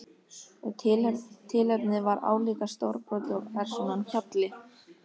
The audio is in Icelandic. Og tilefnið var álíka stórbrotið og persónan Hjalli.